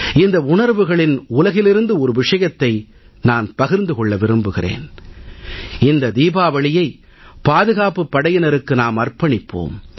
இந்த உணர்வுகளின் உலகிலிருந்து ஒரு விஷயத்தை நான் பகிர்ந்து கொள்ள விரும்புகிறேன் இந்த தீபாவளியை பாதுகாப்புப் படையினருக்கு நாம் அர்ப்பணிப்போம்